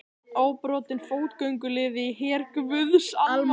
Óbrotinn fótgönguliði í her guðs almáttugs.